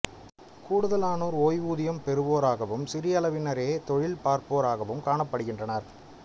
கூடுதலானோர் ஓய்வுதியம் பெறுவோராகவும் சிறிய அளவினரே தொழில் பார்ப்போராகக் காணப்படுகின்றனர்